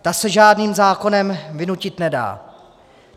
Ta se žádným zákonem vynutit nedá.